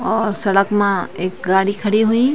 और सड़क मा ऐक गाड़ी खड़ी हुयीं।